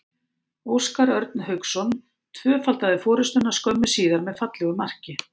Óskar Örn Hauksson tvöfaldaði forystuna skömmu síðar með fallegu marki.